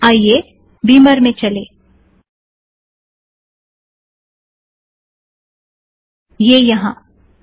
आईये बिमर में चलें - यह यहाँ है